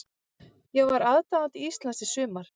Ég var aðdáandi Íslands í sumar.